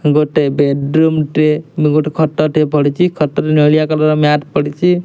ଗୋଟେ ବେଡ଼ରୁମ ଟେ ଗୋଟେ ଖଟ ଟେ ପଡିଚି ଖଟରେ ନେଳିଆ କଲର ମ୍ୟାଟ ପଡିଚି।